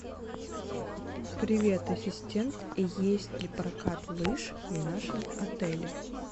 привет ассистент есть ли прокат лыж в нашем отеле